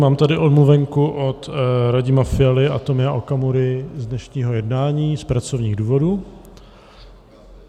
Mám tady omluvenku od Radima Fialy a Tomia Okamury z dnešního jednání z pracovních důvodů.